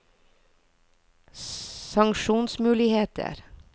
sanksjonsmuligheter